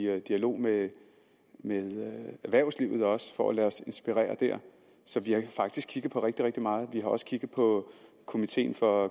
dialog med erhvervslivet for at lade os inspirere der så vi har faktisk kigget på rigtig rigtig meget vi har også kigget på komiteen for